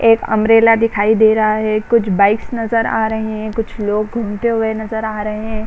एक अम्ब्रेला दिखाई दे रहा है। कुछ बाइक्स नज़र आ रहे हैं। कुछ लोग घूमते हुए नज़र आ रहे --